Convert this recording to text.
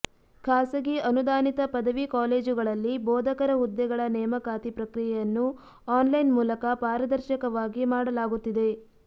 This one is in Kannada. ಖಾಸಗಿ ಅನುದಾನಿತ ಪದವಿ ಕಾಲೇಜುಗಳಲ್ಲಿ ಬೋಧಕರ ಹುದ್ದೆಗಳ ನೇಮಕಾತಿ ಪ್ರಕ್ರಿಯೆಯನ್ನು ಆನ್ಲೈನ್ ಮೂಲಕ ಪಾರದರ್ಶಕವಾಗಿ ಮಾಡಲಾಗುತ್ತಿದೆ